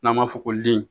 N'an b'a fɔ ko den